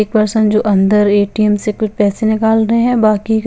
एक पर्सन तो अंदर ए_टी_एम से कुछ पेसे निकाल रहे हे और बाकि--